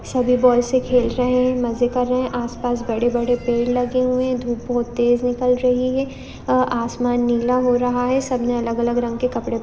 सभी बॉयसे खेल रहे है मज़े कर रहे है आसपास बड़े -बड़े पेड़ लगे हुए है धूप बोहोत तेज निकल रही है अ आसमान नीला हो रहा है सबने अलग- अलग रंग के कपड़े --